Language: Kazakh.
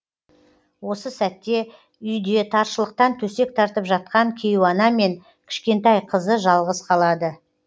осы сәтте үйде таршылықтан төсек тартып жатқан кейуана мен кішкентай қызы жалғыз қалады